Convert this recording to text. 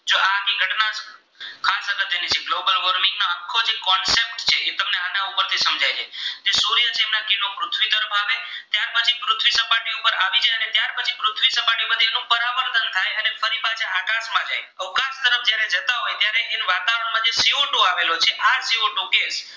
તો આવેલો છે આ સી ઓ ટુ કે